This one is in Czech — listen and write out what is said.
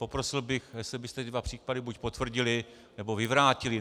Poprosil bych, jestli byste ty dva případy buď potvrdili, nebo vyvrátili.